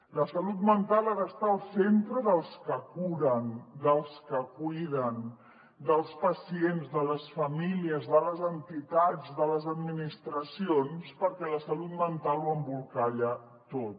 la salut mental ha d’estar al centre dels que curen dels que cuiden dels pacients de les famílies de les entitats de les administracions perquè la salut mental ho embolcalla tot